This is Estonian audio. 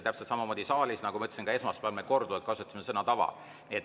Täpselt samamoodi saalis, nagu ma ütlesin, ka esmaspäeval me korduvalt kasutasime sõna "tava".